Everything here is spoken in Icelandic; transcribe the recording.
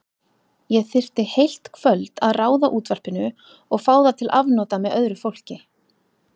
Ég þyrfti heilt kvöld að ráða útvarpinu og fá það til afnota með öðru fólki.